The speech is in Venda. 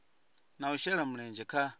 na u shela mulenzhe kha